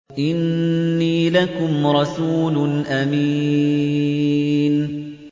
إِنِّي لَكُمْ رَسُولٌ أَمِينٌ